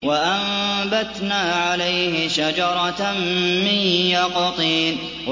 وَأَنبَتْنَا عَلَيْهِ شَجَرَةً مِّن يَقْطِينٍ